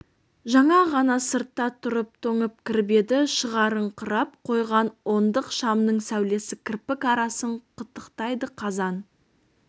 жаңа ғана сыртта тұрып тоңып кіріп еді шығарыңқырап қойған ондық шамның сәулесі кірпік арасын қытықтайды қазан